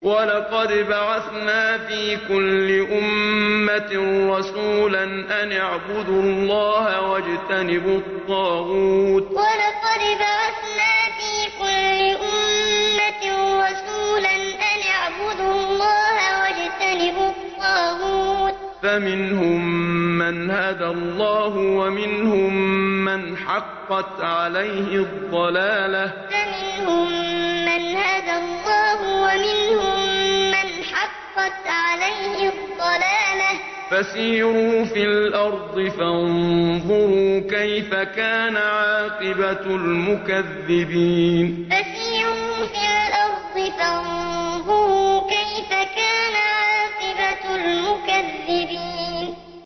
وَلَقَدْ بَعَثْنَا فِي كُلِّ أُمَّةٍ رَّسُولًا أَنِ اعْبُدُوا اللَّهَ وَاجْتَنِبُوا الطَّاغُوتَ ۖ فَمِنْهُم مَّنْ هَدَى اللَّهُ وَمِنْهُم مَّنْ حَقَّتْ عَلَيْهِ الضَّلَالَةُ ۚ فَسِيرُوا فِي الْأَرْضِ فَانظُرُوا كَيْفَ كَانَ عَاقِبَةُ الْمُكَذِّبِينَ وَلَقَدْ بَعَثْنَا فِي كُلِّ أُمَّةٍ رَّسُولًا أَنِ اعْبُدُوا اللَّهَ وَاجْتَنِبُوا الطَّاغُوتَ ۖ فَمِنْهُم مَّنْ هَدَى اللَّهُ وَمِنْهُم مَّنْ حَقَّتْ عَلَيْهِ الضَّلَالَةُ ۚ فَسِيرُوا فِي الْأَرْضِ فَانظُرُوا كَيْفَ كَانَ عَاقِبَةُ الْمُكَذِّبِينَ